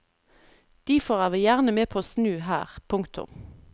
Difor er vi gjerne med på å snu her. punktum